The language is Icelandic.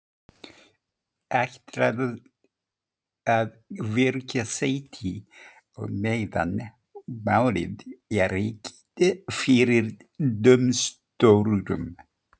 Ætlarðu að víkja sæti á meðan málið er rekið fyrir dómstólum?